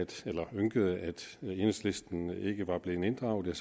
ynkede enhedslisten fordi den ikke var blevet inddraget er